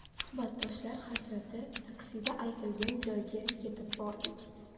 Suhbatdoshlar hasrati Taksida aytilgan joyga yetib bordik.